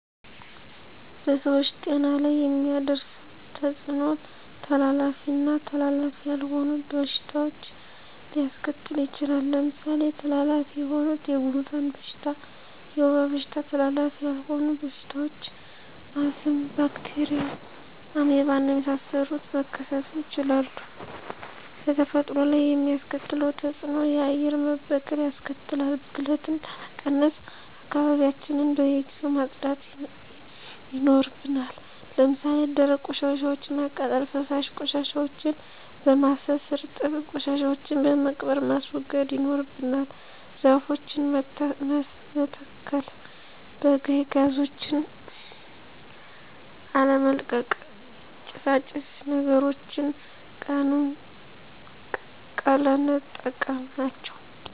በሰዎች ጤና ላይ የሚያደርሰዉ ተጽኖ:-ተላላፊ ና ተላላፊ ያልሆኑ በሽታዎች ሊያሰከትል ይችላል። ለምሳሌ ተላላፊ የሆኑት:-የጉንፍን በሽታ፣ የወባ በሽታ ተላላፊ ያልሆኑ በሽታዎች :-አስም፣ ባክቴርያ፣ አሜባና የመሳሰሉት መከሰቱ ይችላሉ። በተፈጥሮ ላይ የሚያስከትለው ተጽእኖ :-የአየር መበከል ያስከትላል። ብክለትን ለመቀነስ :-አካባቢዎችያችን በየጊዜው ማጽዳት ይናርብናል። ለምሳሌ ደረቅ ቆሻሻወችን በማቃጠል፣ ፈሳሽ ቆሻሻወችን በማፋሰስ፣ እርጥብ ቆሻሻወችን በመቅበር ማስወገድ ይኖርብናል። ዛፎችን መተሰከል፣ በካይ ጋዞችን አለመልቀቅ፣ ጭሳጭስ ነገሮችን ቀለነጠቀም ናቸው።